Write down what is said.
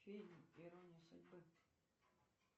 фильм ирония судьбы